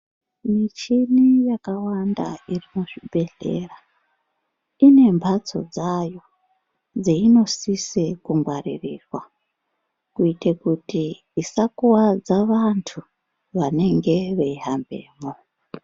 Michini yaka wanda iri mu zvibhedhlera ine mbatso dzayo dzeiyino sise kungwarirwa kuite kuti isa kwadza vantu vanenge veyi hambemwo.